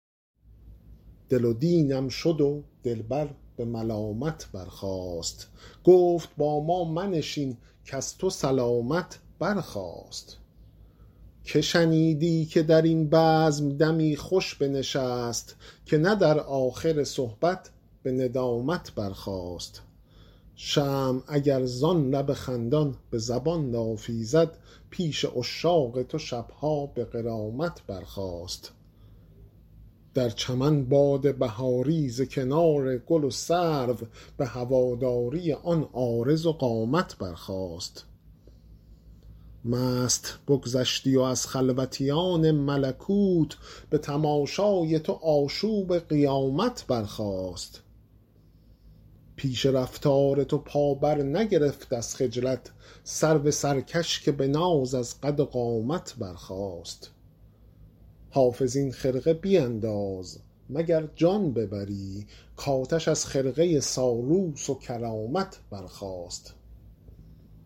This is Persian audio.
دل و دینم شد و دلبر به ملامت برخاست گفت با ما منشین کز تو سلامت برخاست که شنیدی که در این بزم دمی خوش بنشست که نه در آخر صحبت به ندامت برخاست شمع اگر زان لب خندان به زبان لافی زد پیش عشاق تو شب ها به غرامت برخاست در چمن باد بهاری ز کنار گل و سرو به هواداری آن عارض و قامت برخاست مست بگذشتی و از خلوتیان ملکوت به تماشای تو آشوب قیامت برخاست پیش رفتار تو پا برنگرفت از خجلت سرو سرکش که به ناز از قد و قامت برخاست حافظ این خرقه بینداز مگر جان ببری کآتش از خرقه سالوس و کرامت برخاست